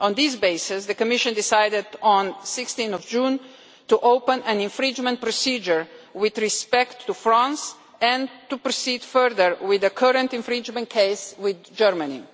On this basis, the Commission decided on 16 June to open an infringement procedure with respect to France and to proceed further with the current infringement case with Germany.